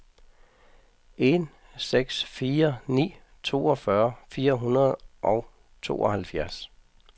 en seks fire ni toogfyrre fire hundrede og tooghalvfjerds